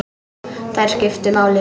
Þær skiptu máli.